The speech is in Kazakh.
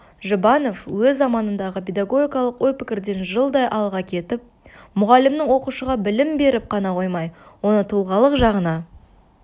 жұбанов өз заманындағы педагогикалық ой пікірден жылдай алға кетіп мұғалімнің оқушыға білім беріп қана қоймай оны тұлғалық жағына